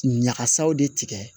Ɲagasaw de tigɛ